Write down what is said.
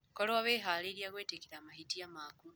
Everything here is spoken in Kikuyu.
Korũo wĩhaarĩirie gwĩtĩkĩra mahĩtia maku.